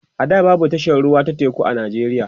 a da babu tashar ruwa ta teku a nijeriya